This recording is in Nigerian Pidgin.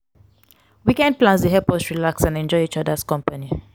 weekend plans dey help us relax and enjoy each other’s company.